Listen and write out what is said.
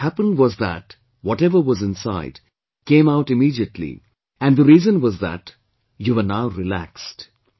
What happened was that whatever was inside, came out immediately and the reason was that you were now relaxed